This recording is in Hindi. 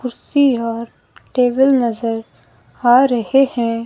कुर्सी और टेबल नजर आ रहे हैं।